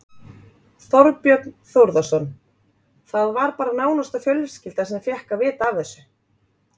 Þorbjörn Þórðarson: Það var bara nánasta fjölskylda sem fékk að vita af þessu?